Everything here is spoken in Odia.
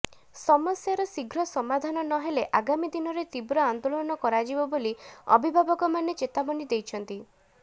ସମସ୍ୟାର ଶୀଘ୍ର ସମାଧାନ ନହେଲେ ଆଗାମୀ ଦିନରେ ତୀବ୍ର ଆନ୍ଦୋଳନ କରାଯିବ ବୋଲି ଅଭିଭାବକମାନେ ଚେତାବନୀ ଦେଇଛନ୍ତି